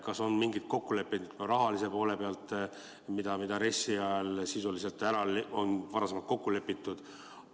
Kas on mingeid kokkuleppeid rahalise poole pealt, milles RES-is sisuliselt on varasemalt kokku lepitud?